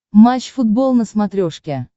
матч футбол на смотрешке